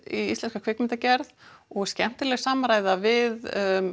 í íslenska kvikmyndagerð og skemmtileg samræða við